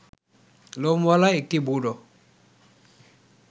লোমওয়ালা একটি বুড়ো